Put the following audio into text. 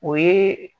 O ye